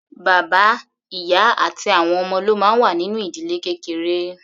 Bàbá, ìyá àti àwọn ọmọ ló máa ń wà nínú ìdílé kékeré.